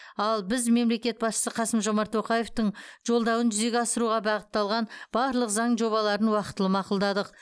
ал біз мемлекет басшысы қасым жомарт тоқаевтың жолдауын жүзеге асыруға бағытталған барлық заң жобаларын уақытылы мақұлдадық